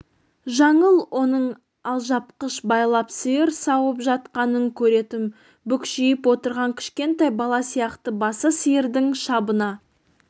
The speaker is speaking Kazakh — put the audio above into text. жаңыл оның алжапқыш байлап сиыр сауып жатқанын көретін бүкшиіп отырған кішкентай бала сияқты басы сиырдың шабына